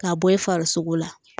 K'a bɔ i farisogo la